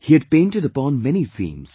He had painted upon many themes